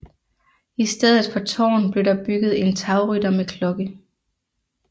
I stedet for tårn blev der bygget en tagrytter med klokke